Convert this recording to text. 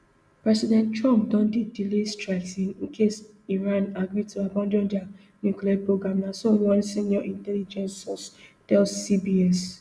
president trump don dey delay strikes in case iran agree to abandon dia nuclear programme na so one senior intelligence source tell cbs